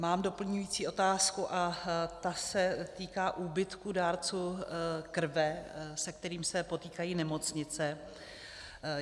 Mám doplňující otázku a ta se týká úbytku dárců krve, se kterými se potýkají nemocnice.